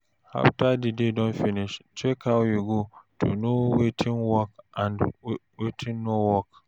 After di day don finish, check how e go to know wetin work and wetin no work